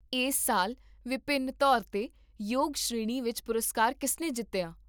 ਇਸ ਸਾਲ ਵਿਭਿੰਨ ਤੌਰ 'ਤੇ ਯੋਗ ਸ਼੍ਰੇਣੀ ਵਿੱਚ ਪੁਰਸਕਾਰ ਕਿਸਨੇ ਜਿੱਤਿਆ?